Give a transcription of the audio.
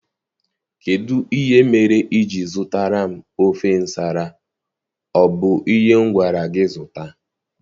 Kedụ ihe mere ijiri zụtara m ofe nsala, ọ bu ihe m gwara gị zụta?